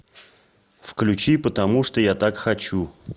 включи потому что я так хочу